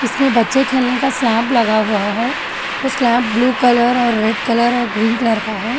इसमें बच्चे खेलने का स्लैम्प लगा हुआ है वो स्लैम्प ब्लू कलर और रेड कलर और ग्रीन कलर का है।